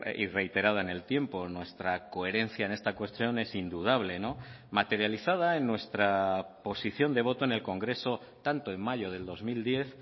y reiterada en el tiempo nuestra coherencia en esta cuestión es indudable materializada en nuestra posición de voto en el congreso tanto en mayo del dos mil diez